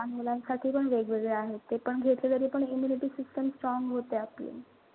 लहान मुलांसाठी पण वेगवेगळे आहेत ते. पण ह्याच्यानेपण immunity system strong होते आपली.